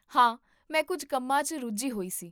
ਹਾਂ! ਮੈਂ ਕੁੱਝ ਕੰਮਾਂ 'ਚ ਰੁੱਝੀ ਹੋਈ ਸੀ